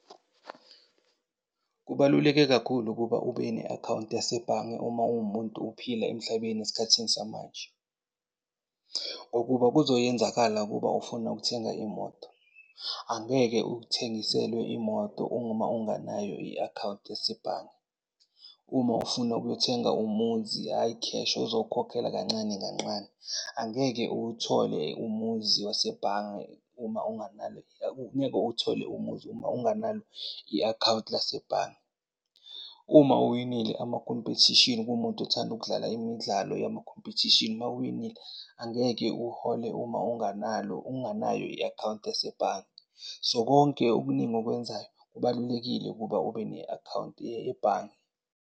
Kubaluleke kakhulu ukuba ube ne-akhawunti yasebhange uma uwumuntu uphila emhlabeni esikhathini samanje. Ngokuba kuzoyenzakala ukuba ufuna ukuthenga imoto, angeke uthengiselwe imoto uma ungenayo i-akhawunti yasebhange. Uma ufuna ukuyothenga umuzi ayi, cash uzowukhokhela kancane kanqane. Angeke uwuthole umuzi wasebhange uma unganalo ngeke uwuthole umuzi uma unganalo i-akhawunti lasebhange. Uma uwinile amakhompethishini kuwumuntu othanda ukudlala imidlalo yamakhompethishini, uma uwinile angeke uhole uma unganalo, unganayo i-akhawunti yasebhange. So, konke okuningi okwenzayo kubalulekile ukuba ube ne-akhawunti yebhange.